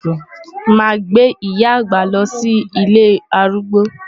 Màá gbé ìyá àgbà lọ sí ilé arúgbó.